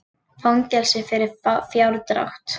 Fangelsi fyrir fjárdrátt